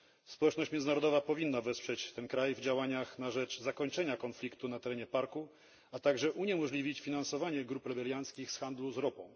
Społeczność międzynarodowa powinna wesprzeć ten kraj w działaniach na rzecz zakończenia konfliktu na terenie parku, a także uniemożliwić finansowanie grup rebelianckich z handlu ropą.